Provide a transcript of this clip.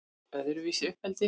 Öðruvísi uppeldi